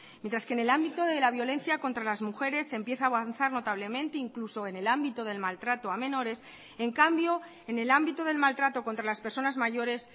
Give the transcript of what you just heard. mientras que en el ámbito de la violencia contra las mujeres se empieza a avanzar notablemente incluso en el ámbito del maltrato a menores en cambio en el ámbito del maltrato contra las personas mayores